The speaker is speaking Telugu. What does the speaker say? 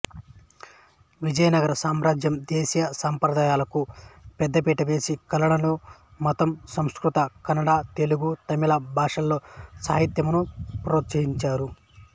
విజయనగర సామ్రాజ్యం దేశీయ సంప్రదాయాలకు పెద్దపీట వేసి కళలను మతం సంస్కృత కన్నడ తెలుగు తమిళ భాషలలో సాహిత్యంను ప్రోత్సహించారు